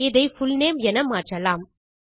இதை புல்நேம் என மாற்றலாம்